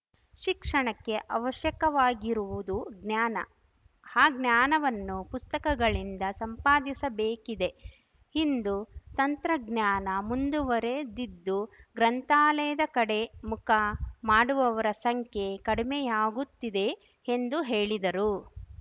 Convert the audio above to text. ಶಿಕ್ಷಣಕ್ಕೆ ಅವಶ್ಯಕವಾಗಿರುವುದು ಜ್ಞಾನ ಆ ಜ್ಞಾನವನ್ನು ಪುಸ್ತಕಗಳಿಂದ ಸಂಪಾದಿಸಬೇಕಿದೆ ಇಂದು ತಂತ್ರಜ್ಞಾನ ಮುಂದುವರಿದಿದ್ದು ಗ್ರಂಥಾಲಯದ ಕಡೆ ಮುಖ ಮಾಡುವವರ ಸಂಖ್ಯೆ ಕಡಿಮೆಯಾಗುತ್ತಿದೆ ಎಂದು ಹೇಳಿದರು